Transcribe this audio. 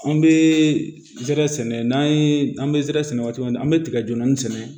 An bɛ ɛrɛ sɛnɛ n'an ye an bɛ zɛrɛ sɛnɛ waati min na an bɛ tigɛjɛni sɛnɛ